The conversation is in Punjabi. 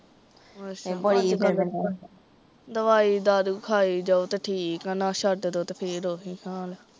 ਅੱਛਾ ਦਵਾਈ ਦਾਰੂ ਖਾਈ ਜਾਓ ਤੇ ਠੀਕ ਤੇ ਨਾਲ਼ ਛੱਡਦੋ ਤੇ ਫੇਰ ਓਹਈ ਹਾਲ